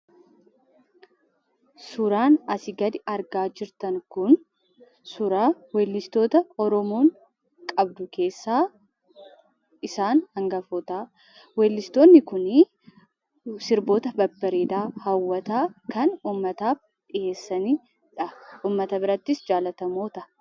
Suuraan asii gaditti argaa jirtan kun suuraa weellistoota oromoon qabdu keessaa isaan hangafoota. Weellistoonni kunniin sirba hawwataa, bareedaa kan uummataaf dhiyeessanidha. kanaaf jaallatamoodha.